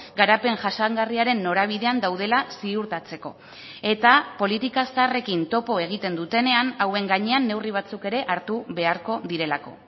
garapen jasangarriaren norabidean daudela ziurtatzeko eta politika zaharrekin topo egiten dutenean hauen gainean neurri batzuk ere hartu beharko direlako